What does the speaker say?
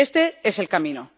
Este es el camino.